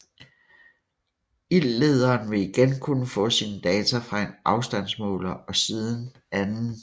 Ildlederen vil igen kunne få sine data fra en afstandsmåler og siden 2